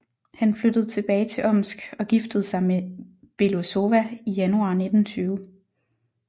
Han flyttede tilbage til Omsk og giftede sig med Belousova i januar 1920